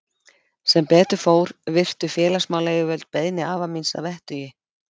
Sem betur fór virtu félagsmálayfirvöld beiðni afa míns að vettugi.